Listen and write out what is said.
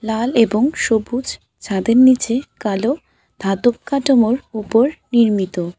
লাল এবং সবুজ ছাদের নীচে কালো ধাতব কাঠামোর ওপর নির্মিত।